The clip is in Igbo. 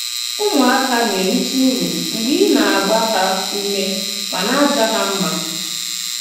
Ùmù-àká na-èrìtè ùrù mgbè ì na-àgbà hà ùmè mà na-àjà hà mmà.